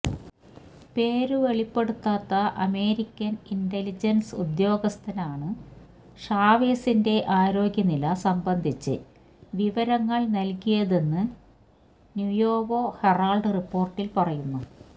പേര് വെളിപ്പെടുത്താത്ത American intelligence ഉദ്യോഗസ്ഥനാണു ഷാവേസിന്റെ ആരോഗ്യ നില സംബന്ധിച്ച് വിവരങ്ങള് നല്കിയതെന്നു നുയേവോ ഹെറാള്ഡ് റിപ്പോര്ട്ടില് പറയുന്നു